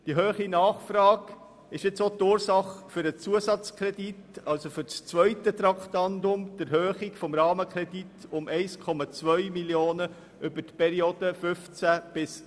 Die hohe Nachfrage ist jetzt auch die Ursache für den Zusatzkredit, also für das zweite Traktandum, die Erhöhung des Rahmenkredits um 1,2 Mio. Franken für die Periode 2015–2017.